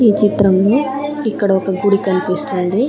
ఈ చిత్రంలో ఇక్కడ ఒక గుడి కనిపిస్తుంది.